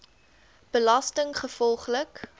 belastinggevolglik